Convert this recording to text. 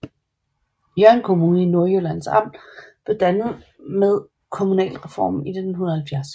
Hjørring Kommune i Nordjyllands Amt blev dannet ved kommunalreformen i 1970